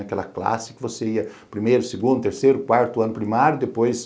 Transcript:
Aquela classe que você ia primeiro, segundo, terceiro, quarto ano primário e depois